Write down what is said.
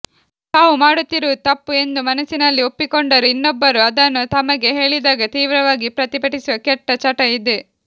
ತಾವು ಮಾಡುತ್ತಿರುವುದು ತಪ್ಪು ಎಂದು ಮನಸ್ಸಿನಲ್ಲಿ ಒಪ್ಪಿಕೊಂಡರೂ ಇನ್ನೊಬ್ಬರು ಅದನ್ನು ತಮಗೆ ಹೇಳಿದಾಗ ತೀವ್ರವಾಗಿ ಪ್ರತಿಭಟಿಸುವ ಕೆಟ್ಟ ಚಟ ಇದೆ